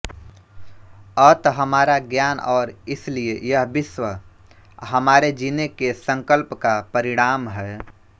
अत हमारा ज्ञान और इसलिए यह विश्व हमारे जीने के संकल्प का परिणाम है